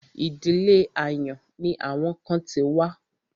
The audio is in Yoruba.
Ìdílé àyàn ni àwọn kan ti wá.